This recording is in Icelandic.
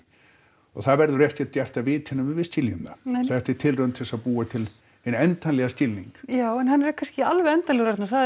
og það verður ekkert gert af viti nema við skiljum það þetta er tilraun til að búa til hinn endanlega skilning já en hann er kannski ekki alveg endanlegur Arna